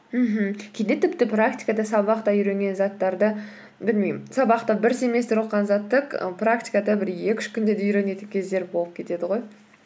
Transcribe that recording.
мхм кейде тіпті практикада сабақта үйренген заттарды білмеймін сабақта бір семестр оқыған затты і практикада бір екі үш күнде де үйренетін кездер болып кетеді ғой